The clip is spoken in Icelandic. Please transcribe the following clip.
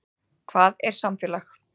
Hvað er samfélag?